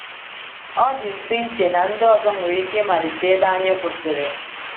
Ọ dị mfe iche na ndị ọzọ nwere ike ịmalite ebe anyị kwụsịrị.